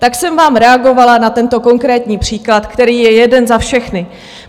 Tak jsem vám reagovala na tento konkrétní příklad, který je jeden za všechny.